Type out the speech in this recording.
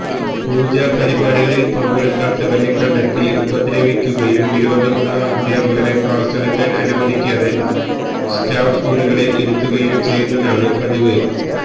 പൂജാ പരിപാടികളില് പങ്കെടുക്കാത്തവരെ കണ്ടെത്തി ഉപദ്രവിക്കുകയും വിരോധമുളള അധ്യാപകരെ ക്ലാസെടുക്കാന് അനുവദിക്കാതെ സ്റ്റാഫ് മുറികളില് ഇരുത്തുകയും ചെയ്യുന്നത് പതിവാണ്